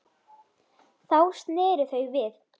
Þá sneru þau við.